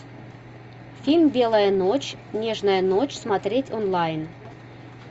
фильм белая ночь нежная ночь смотреть онлайн